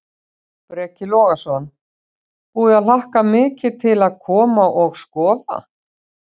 Breki Logason: Búið að hlakka mikið til að koma og, og skoða?